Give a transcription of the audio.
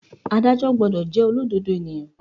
Ádájọ́ gbọ́dọ̀ jẹ́ olódodo ènìyàn.